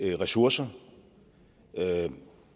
ressourcer